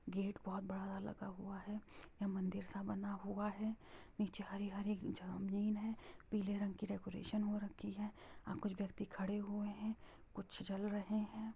Gate बहुत बड़ा वाला लगा हुआ है| यह मंदिर सा बना हुआ है| नीचे हरी हरी जमीन है| पीले रंग की डेकोरेशन हो रखी है| यह कुछ व्यक्ति खड़े हुए है कुछ चल रहे है।